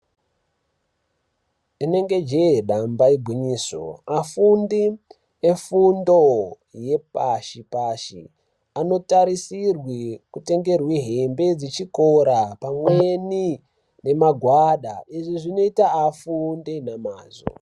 Inenge jee damba igwinyiso afundi efundo yepashi pashi anotarisirwi kutengerwi hembe dzechikora pamweni nemagwada izvizvinoita afunde namazvo.